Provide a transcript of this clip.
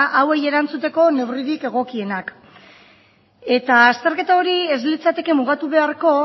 hauei erantzuteko neurririk egokiena eta azterketa hori ez litzateke mugatu beharko